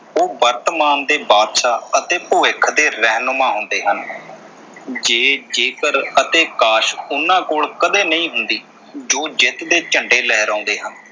ਉਹ ਵਰਤਮਾਨ ਦੇ ਬਾਦਸ਼ਾਹ ਅਤੇ ਭਵਿੱਖ ਦੇ ਰਹਿਮਨੁਮਾ ਹੁੰਦੇ ਹਨ। ਜੇ ਜੇਕਰ ਅਤੇ ਕਾਸ਼ ਉਨ੍ਹਾਂ ਕੋਲ ਕਦੇ ਨਹੀਂ ਹੁੰਦੀ ਜੋ ਜਿੱਤ ਦੇ ਝੰਡੇ ਲਹਿਰਾਉਂਦੇ ਹਨ।